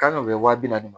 Kan ka kɛ wa bi naani ni